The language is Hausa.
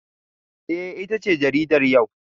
Eh ita ce jaridar yau